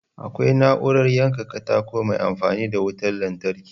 Akwai na'urar yanka katako mai amfani da wutar lantarki